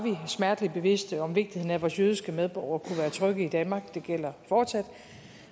smerteligt bevidste om vigtigheden af at vores jødiske medborgere kunne være trygge i danmark det gælder fortsat